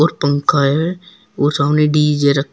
और पंखा है और सामने डी_जे रखा--